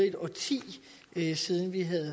et årti siden vi